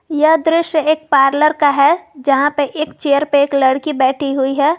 यह दृश्य एक पार्लर का है जहां पे एक चेयर पे एक लड़की बैठी हुई है।